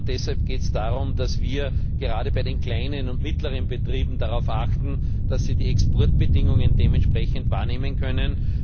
Deshalb geht es darum, dass wir gerade bei den kleinen und mittleren Betrieben darauf achten, dass sie die Exportbedingungen dementsprechend wahrnehmen können.